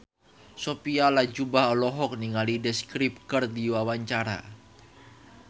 Sophia Latjuba olohok ningali The Script keur diwawancara